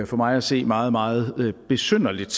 for mig at se meget meget besynderligt